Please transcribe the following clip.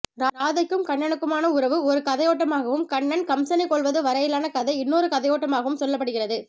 ராதைக்கும் கண்ணனுக்குமான உறவு ஒரு கதையோட்டமாகவும் கண்ணன் கம்சனைக்கொல்வது வரையிலான கதை இன்னொரு கதையோட்டமாகவும் சொல்லப்படுகிறது